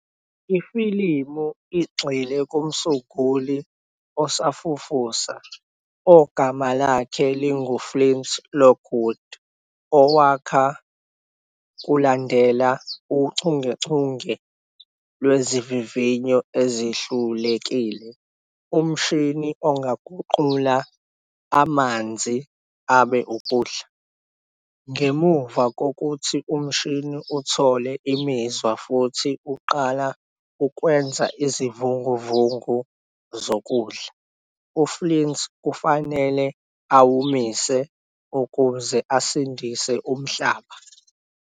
Ifilimu igxile kumsunguli osafufusa ogama lakhe lingu-Flint Lockwood owakha, kulandela uchungechunge lwezivivinyo ezihlulekile, umshini ongaguqula amanzi abe ukudla. Ngemuva kokuthi umshini uthole imizwa futhi uqala ukwenza izivunguvungu zokudla, u-Flint kufanele awumise ukuze asindise umhlaba.